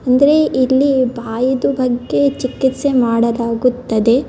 ಅಂದ್ರೆ ಇಲ್ಲಿ ಬಾಯಿದು ಬಗ್ಗೆ ಚಿಕಿತ್ಸೆ ಮಾಡಲಾಗುತ್ತದೆ .